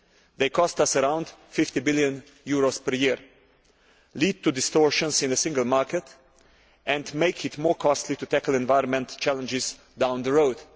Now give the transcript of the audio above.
They cost us around EUR 50 billion per year, lead to distortions in the Single Market and make it more costly to tackle environmental challenges down the road.